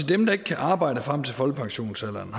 dem der ikke kan arbejde frem til folkepensionsalderen